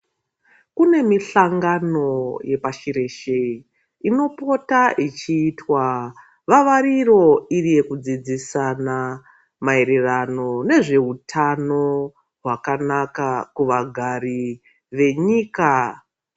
Kune mihlangano wepashi reshe inopota ichiitwa vavariro iri yekudzidzisana maererano iri yezvehutano hwakanaka kuvagari venyika.